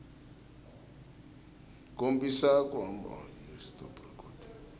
kombisa ku hambana ka swona